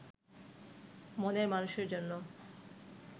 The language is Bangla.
মনের মানুষের জন্য